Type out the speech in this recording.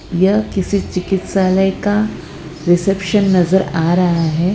यह किसी चिकित्सालय का रिसेप्शन नजर आ रहा है।